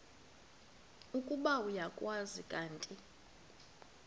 ukuba uyakwazi kanti